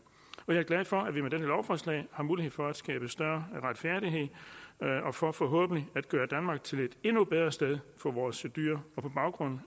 jeg er glad for at vi med dette lovforslag har mulighed for at skabe større retfærdighed og for forhåbentlig at gøre danmark til et endnu bedre sted for vores dyr og på baggrund